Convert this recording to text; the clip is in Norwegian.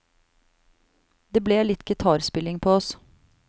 Det ble litt gitarspilling på oss.